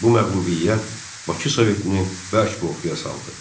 Bu məğlubiyyət Bakı Sovetini bərk qorxuya saldı.